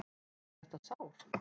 Sérðu þetta sár?